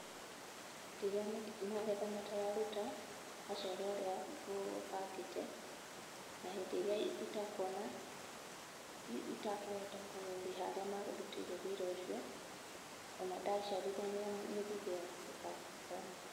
Hĩndĩ ĩrĩa magetha matararuta maciaro ũrĩa ngũbangĩte, na hĩndĩ ĩrĩa itakuona, itakũhota kũrĩha arĩa mandutĩire wĩra ũcio o na ndaciarithania mĩthithũ ĩo ĩkaga gũkorwo mĩega.